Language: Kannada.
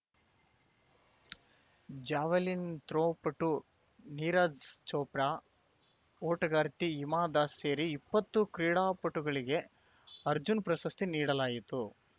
ಜಾವೆಲಿನ್‌ ಥ್ರೋ ಪಟು ನೀರಜ್‌ ಚೋಪ್ರಾ ಓಟಗಾರ್ತಿ ಹಿಮಾ ದಾಸ್‌ ಸೇರಿ ಇಪ್ಪತ್ತು ಕ್ರೀಡಾಪಟುಗಳಿಗೆ ಅರ್ಜುನ ಪ್ರಶಸ್ತಿ ನೀಡಲಾಯಿತು